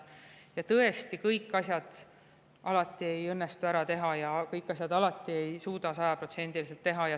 Ja tõesti, kõiki asju alati ei õnnestu ära teha, kõiki asju alati ei suuda sajaprotsendiliselt teha.